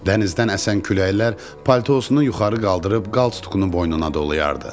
Dənizdən əsən küləklər paltosunu yuxarı qaldırıb qalsduqunu boynuna dolayardı.